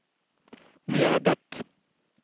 Mjöbäck